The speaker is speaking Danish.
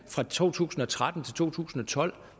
fra to tusind og tretten til to tusind og tolv